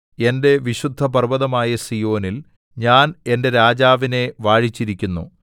എന്റെ വിശുദ്ധ പർവ്വതമായ സീയോനിൽ ഞാൻ എന്റെ രാജാവിനെ വാഴിച്ചിരിക്കുന്നു